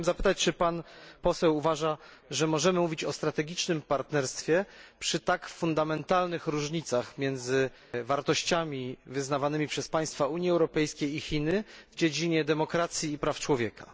Chciałbym zapytać czy pan poseł uważa, że możemy mówić o strategicznym partnerstwie przy tak fundamentalnych różnicach między wartościami wyznawanymi przez państwa Unii Europejskiej i Chinami w dziedzinie demokracji i praw człowieka?